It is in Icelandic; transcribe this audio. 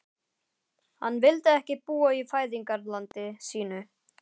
Hann vildi ekki búa í fæðingarlandi sínu.